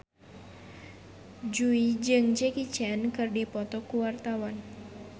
Jui jeung Jackie Chan keur dipoto ku wartawan